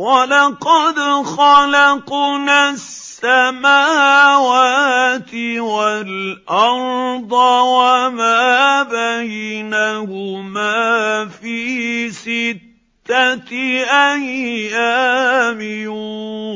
وَلَقَدْ خَلَقْنَا السَّمَاوَاتِ وَالْأَرْضَ وَمَا بَيْنَهُمَا فِي سِتَّةِ أَيَّامٍ